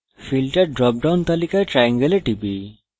filter drop down তালিকায় triangle এ টিপি